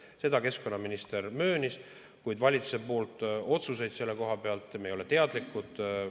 Seda keskkonnaminister möönis, kuid valitsuse poolt tulnud otsustest selle koha pealt ei ole me teadlikud.